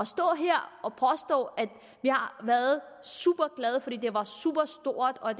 stå her og påstå at vi har været superglade fordi det var superstort og